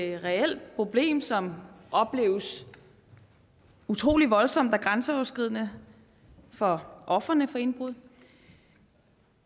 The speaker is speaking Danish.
et reelt problem som opleves utrolig voldsomt og grænseoverskridende for ofrene for indbrud